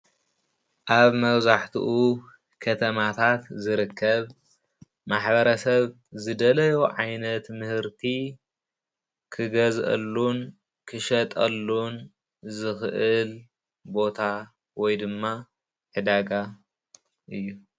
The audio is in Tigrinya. ኣብ መብዛሕትኡ ከተማታት ዝርከብ ማሕበረሰብ ዝደለዮ ዓይነት ምህርቲ ክገዝኣሉን ክሸጠሉን ዝኽእል ቦታ ወይ ድማ ዕዳጋ እዩ።